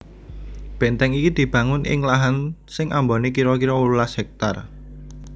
Bèntèng iki dibangun ing lahan sing ambané kira kira wolulas hèktar